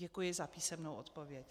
Děkuji za písemnou odpověď.